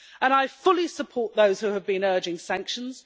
I fully support those who have been urging sanctions.